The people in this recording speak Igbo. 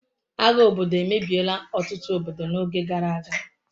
agha obodo emebiela otutu obodo n'oge gara aga